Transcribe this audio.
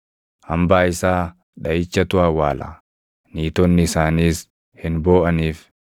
Hambaa isaa dhaʼichatu awwaala; niitonni isaaniis hin booʼaniif.